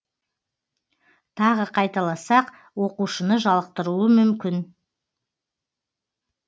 тағы қайталасақ оқушыны жалықтыруы мүмкін